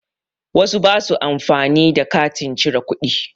Wasu ba su amfani da katin cire kuɗi